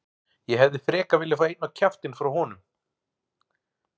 Ég hefði frekar viljað fá einn á kjaftinn frá honum.